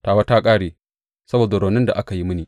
Tawa ta ƙare, saboda raunin da aka yi mini!